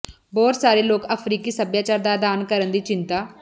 ਬਹੁਤ ਸਾਰੇ ਲੋਕ ਅਫ਼ਰੀਕੀ ਸਭਿਆਚਾਰ ਦਾ ਅਧਿਐਨ ਕਰਨ ਦੀ ਚਿੰਤਾ